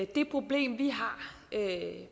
det problem vi har